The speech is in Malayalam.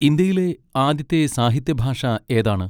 ഇന്ത്യയിലെ ആദ്യത്തെ സാഹിത്യഭാഷ ഏതാണ്?